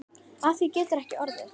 Af því getur ekki orðið.